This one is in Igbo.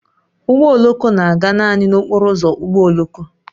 Ụgbọ oloko na-aga naanị n'okporo ụzọ ụgbọ oloko